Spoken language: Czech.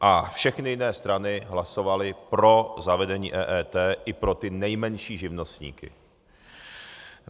A všechny jiné strany hlasovaly pro zavedení EET i pro ty nejmenší živnostníky.